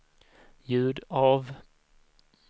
ljud av